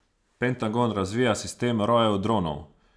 Pentagon razvija sistem rojev dronov.